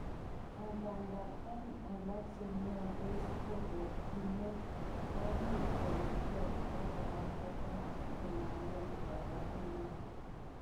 Angandan, en alak chemiondos, kobokyinet komuch koketkei obokora kota konam ngweny koborunoik.